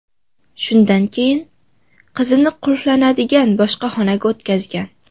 Shundan keyin qizini qulflanadigan boshqa xonaga o‘tkazgan.